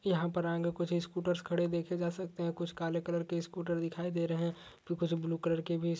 यहाँ पर आगे कुछ स्कूटर्स खड़े देखे जा सकते हैं। कुछ काले कलर के स्कूटर दिखाई दे रहे हैं। कुछ ब्लू कलर के भी --